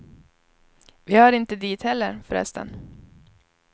Vi hör inte dit heller, förresten.